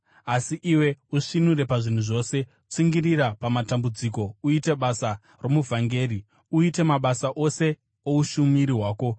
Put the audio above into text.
Asi iwe, usvinure pazvinhu zvose, tsungirira pamatambudziko, uite basa romuvhangeri, uite mabasa ose oushumiri hwako.